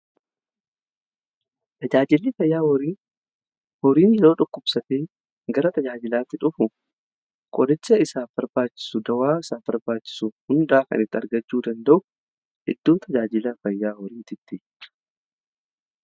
Tajaajilli fayyaa horii yeroo dhukkubsatee gara tajaajilaatti dhufu yaaliin isa barbaachisu dawaa isaa barbaachisu hundaa kan itti argachuu danda'u hedduu tajaajiilaa fayyaa horiiti.